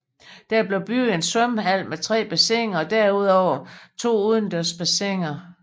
Der blev bygget en svømmehal med tre bassiner og derudover to udendørs bassiner